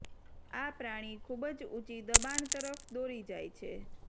આ પ્રાણી ખૂબ જ ઊંચી દબાણ તરફ દોરી જાય છે